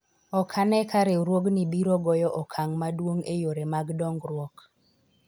ok ane ka riwruogni biro goyo okang' maduong' e yore mag dongruok